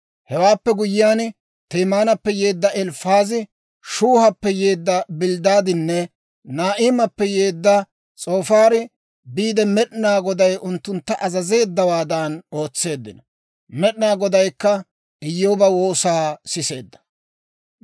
Hewaappe guyyiyaan, Temaanappe yeedda Elifaazi, Shuuhappe yeedda Bilddaadinne Naa'imappe yeedda S'oofaari biide, Med'inaa Goday unttuntta azazeeddawaadan ootseeddino. Med'inaa Godaykka Iyyooba woosaa siseedda.